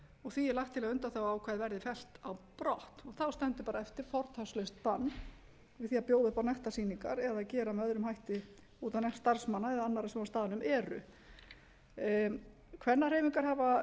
og því er lagt til að undanþáguákvæðið verði fellt brott þá stendur bara eftir fortakslaust bann við því að bjóða upp á nektarsýningar eða að gera með öðrum hætti út á nekt starfsmanna eða annarra sem á staðnum eru kvennahreyfingar hafa